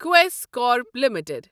Quess Corp limited